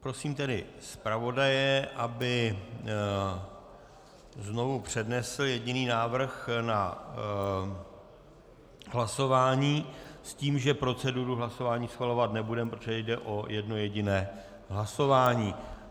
Prosím tedy zpravodaje, aby znovu přednesl jediný návrh na hlasování s tím, že proceduru hlasování schvalovat nebudeme, protože jde o jedno jediné hlasování.